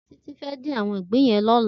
Titi fè din áwòn ìgbín yèn lòlá